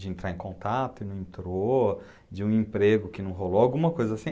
de entrar em contato e não entrou, de um emprego que não rolou, alguma coisa assim.